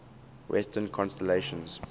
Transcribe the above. western constellations